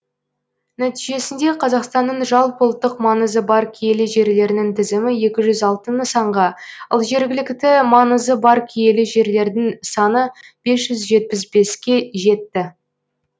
нәтижесінде қазақстанның жалпыұлттық маңызы бар киелі жерлерінің тізімі екі жүз алты нысанға ал жергілікті маңызы бар киелі жерлердің саны бес жүз жетпіс беске жетті